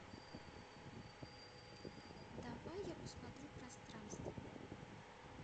давай я посмотрю пространство